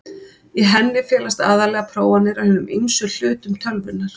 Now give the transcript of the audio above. Í henni felast aðallega prófanir á hinum ýmsu hlutum tölvunnar.